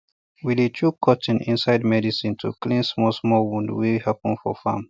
we dey chook cotton inside medicine to clean small small wound wey happen for farm